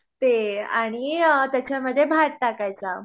ते आणि त्याच्यामध्ये भात टाकायचा